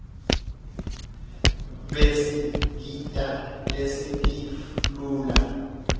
basidita sisentif lula